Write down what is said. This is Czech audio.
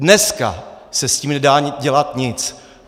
Dneska se s tím nedá dělat nic.